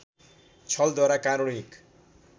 छलद्वारा कारुणिक